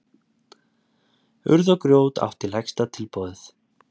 Urð og grjót átti lægsta tilboðið